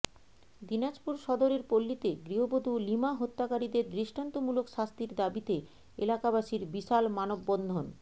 দিনাজপুর সদরের পল্লীতে গৃহবধু লিমা হত্যাকারীদের দৃষ্টান্ত মূলক শাস্তির দাবীতে এলাকাবাসীর বিশাল মানববন্ধন